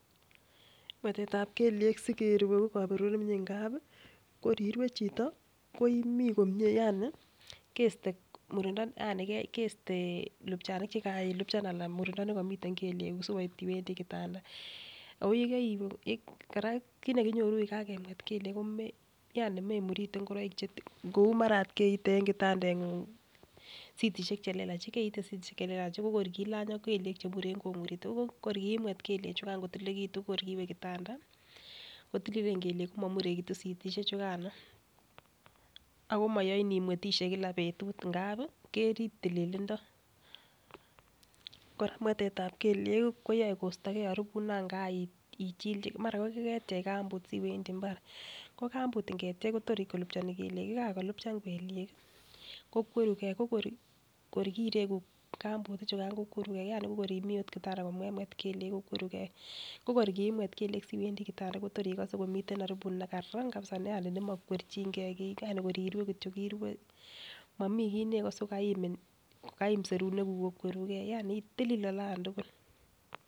Mwetetab kelyek sikeru ko koberuret nemie ngapi kor irue chito ko imii komie yani keste murindo yani keste lubchanik chekanilubchan anan murindo nekimiten kelyek kuku sikopit iwendii kitanda ako yekeiwe Koraa kit nekinyoru ko kakemwet kelyek ko me yani memurite ngoroik chetin kou mara keite en kitandengung sitishek chelelach chii ko kor kilany ak kelyek chemuren komurite, nibuch kor kiimwet kelyek chukan kotililen kitun ko kor kiiwe kitanda kotililen kelyek kokomurekitun sitishek chukano ako moyoin imwetishe kila betut ngapi kerib tililindo. Koraa mwetetab kelyek koyoe kostogee oribut non kaa ichilchil mara ko koketyech kambut siwendi imbar ko kambut iketyech Kotor kolupchoni kelyek, yakakolupchan kelyek kii kokwerugee ko kor koreku kambut ichukan kokwerugee yani ko kor imii ot kitanda komemwet kelyek kokwerugee. Ko kor kiimwet kelyek siwendi Kotor ikose kole miten oribut nekaran kabisa yani nemokwerchingee kii yani kor irue kityok irue momii kii neikose ko kaimin ko kaim serunek kuk kokwerugee yani tilil olan tukul.